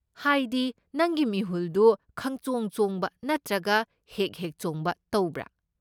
ꯍꯥꯏꯗꯤ ꯅꯪꯒꯤ ꯃꯤꯍꯨꯜꯗꯨ ꯈꯪꯆꯣꯡ ꯆꯣꯡꯕ ꯅꯠꯇ꯭ꯔꯒ ꯍꯦꯛ ꯍꯦꯛ ꯆꯣꯡꯕ ꯇꯧꯕ꯭ꯔꯥ?